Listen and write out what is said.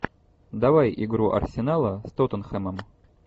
давай игру арсенала с тоттенхэмом